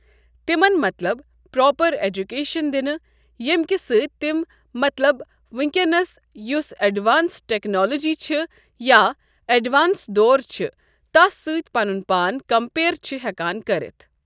تِمَن مطلب proper education دِنہٕ ییٚمکہ سۭتۍ تِم مطلب وٕنکٮ۪نَس یُس اٮ۪ڈوانسٕڈ ٹیکنالوجی چھِ یا اٮ۪ڈوانس دور چھِ تَس سٕتۍ پَنُن پان کَمپیر چھِ ہٮ۪کان کٔرِتھ ۔